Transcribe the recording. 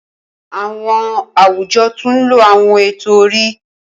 Awọn awujọ tun nlo awọn eto-ori.